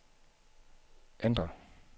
ændr